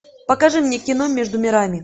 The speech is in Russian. покажи мне кино между мирами